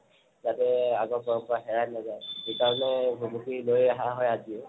যাতে আগৰ পৰম্পৰা হেৰাই নাজায় সেইকাৰণে ভুমুকি লৈ অহা হয় আজিও